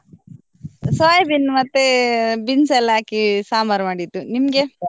Soybean ಮತ್ತೆ beans ಎಲ್ಲ ಹಾಕಿ ಸಾಂಬಾರ್ ಮಾಡಿದ್ದು ನಿಮ್ಗೆ?